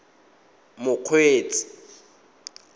mokgweetsi